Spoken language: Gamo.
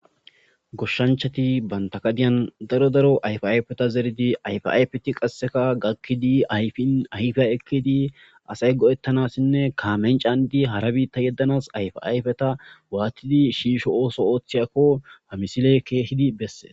Goshshanchati bantakadiyan daro daro ayfayfeta zeridi ayfayfti qasseka gakkidi yinayfiya ekkidi asay go'ettanassinne kaamencandi hara biitta yeddanas ayfayfeta waatidi shiisho ooso ooththiyakko hamisile keehidi besse'